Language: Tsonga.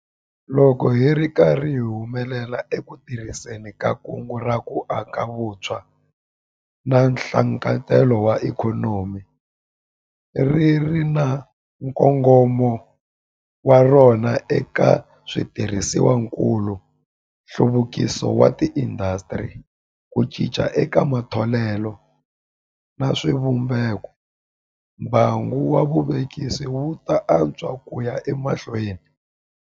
Loko hi ri karhi hi humelela eku tirhiseni ka Kungu ra ku Aka hi Vutshwa na Nhlakarhelo wa Ikhonomi ri ri na nkongomo wa rona eka switirhisiwakulu, nhluvukiso wa tiindasitiri, ku cinca eka matholelo na swivumbekombangu wa vuvekisi wu ta antswa ku ya emahlweni.